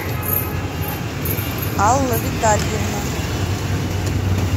алла витальевна